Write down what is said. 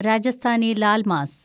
Rajasthani laal mass